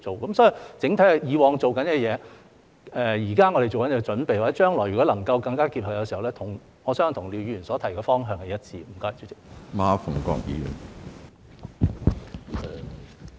所以，整體而言，我們以往做的工作、現正做的準備，以及將來如果能夠做到更加結合的話，我相信跟廖議員所提的方向是一致的。